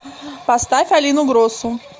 поставь алину гросу